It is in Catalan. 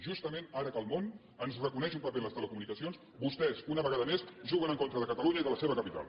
justament ara que el món ens reconeix un paper en les telecomunicacions vostès una vegada més juguen en contra de catalunya i de la seva capital